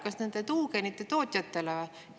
Kas nende tuugenite tootjatele või?